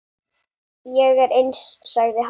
Ég er eins, sagði hann.